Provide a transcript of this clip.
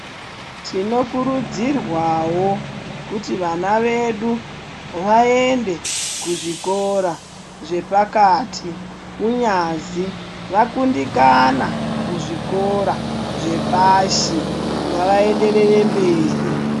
Tinokurudzirwawo kuti vana vedu vaende kuzvikora zvepakati kunyazi vakundikakana muzvikora zvepashi ngavaenderere mberi.